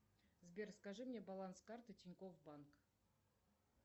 сбер скажи мне баланс карты тинькофф банк